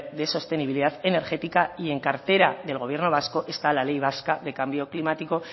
de sostenibilidad energética y en cartera del gobierno vasco está la ley vasca de cambio climático